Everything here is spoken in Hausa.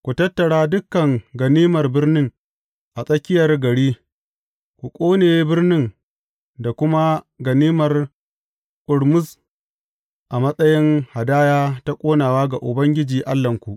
Ku tattara dukan ganimar birnin a tsakiyar gari, ku ƙone birnin da kuma ganimar ƙurmus a matsayin hadaya ta ƙonawa ga Ubangiji Allahnku.